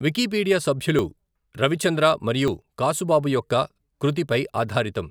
Wikipedia సభ్యులు రవిచంద్ర మరియు కాసుబాబు యొక్క కృతిపై ఆధారితం.